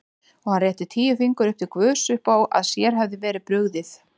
Og hann rétti tíu fingur upp til guðs uppá að sér hefði verið brugðið.